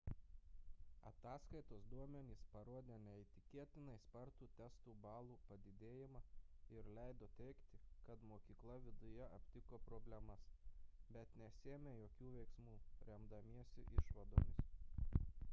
ataskaitos duomenys parodė neįtikėtinai spartų testų balų padidėjimą ir leido teigti kad mokykla viduje aptiko problemas bet nesiėmė jokių veiksmų remdamasi išvadomis